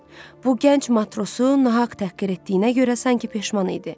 Bu gənc matrosu nahaq təhqir etdiyinə görə sanki peşman idi.